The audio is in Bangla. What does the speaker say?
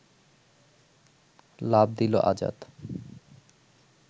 লাফ দিল আজাদ